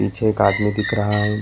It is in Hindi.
पीछे एक आदमी दिख रहा है।